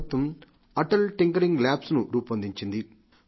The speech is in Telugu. మన పాఠశాలల్లో ఎక్కడెక్కడ ఈ టింకరింగ్ ల్యాబ్స్ ను రూపొందించింది